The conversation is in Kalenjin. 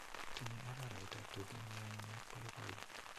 Tinyei araraita tuge nionyiny ak poipoiyo.